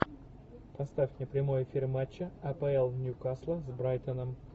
поставь мне прямой эфир матча апл ньюкасла с брайтоном